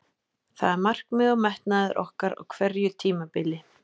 Það er markmið og metnaður okkar á hverju tímabili.